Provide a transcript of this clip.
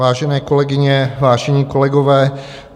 Vážené kolegyně, vážení kolegové.